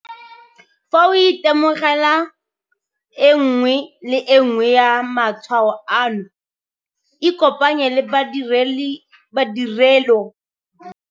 Fa o itemogela e nngwe le e nngwe ya matshwao ano ikopanye le ba ditirelo tsa boitekanelo